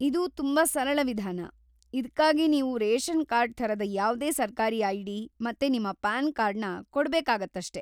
ಇದು ತುಂಬಾ ಸರಳ ವಿಧಾನ, ಇದ್ಕಾಗಿ ನೀವು ರೇಷನ್ ಕಾರ್ಡ್ ಥರದ ಯಾವ್ದೇ ಸರ್ಕಾರಿ ಐ.ಡಿ. ಮತ್ತೆ ನಿಮ್ಮ ಪ್ಯಾನ್ ಕಾರ್ಡ್‌ನ ಕೊಡ್ಬೇಕಾಗತ್ತಷ್ಟೇ.